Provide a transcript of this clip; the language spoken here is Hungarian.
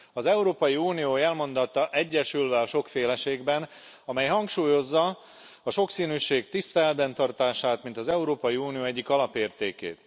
Az Európai Unió jelmondata Egyesülve a sokféleségben, amely hangsúlyozza a sokszínűség tiszteletben tartását, mint az Európai Unió egyik alapértékét.